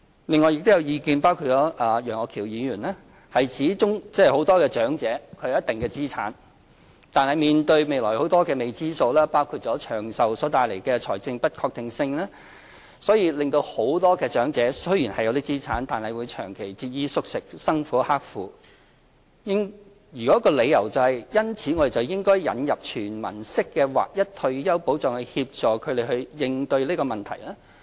另外，有意見——包括楊岳橋議員——指縱使有些長者有一定資產，但面對未來許多的未知數，包括因長壽帶來的財政不確定性，所以令很多長者雖然有很多資產，但長期節衣縮食，生活刻苦，因此應該引入"全民式"劃一退休保障以協助他們應對這問題。